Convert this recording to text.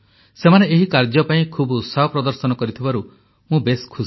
ସେମାନେ ଏହି କାର୍ଯ୍ୟ ପାଇଁ ଖୁବ୍ ଉତ୍ସାହ ପ୍ରଦର୍ଶନ କରିଥିବାରୁ ମୁଁ ବେଶ୍ ଖୁସି